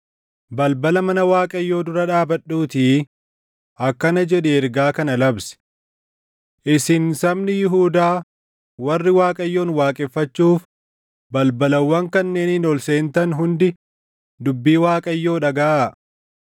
“Balbala mana Waaqayyoo dura dhaabadhuutii akkana jedhii ergaa kana labsi: “ ‘Isin sabni Yihuudaa warri Waaqayyoon waaqeffachuuf balbalawwan kanneeniin ol seentan hundi dubbii Waaqayyoo dhagaʼaa.